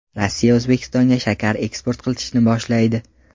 Rossiya O‘zbekistonga shakar eksport qilishni boshlaydi.